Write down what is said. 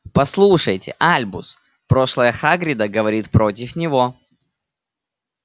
послушайте альбус прошлое хагрида говорит против него